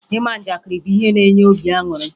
Ịma njakịrị bụ ihe na-enye obi aṅụrụ